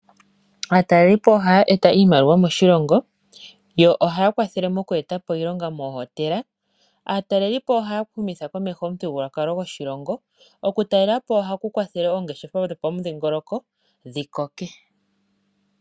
Aatalelipo ohaa eta iimaliwa moshilongo, yo ohaa kwathele moku etapo iilonga moohotela. Ohaa humitha komeho omuthigululwakalo goshilongo. Okutalelapo ohaku okwathele oongeshefa dhopamudhingoloko dhi koke.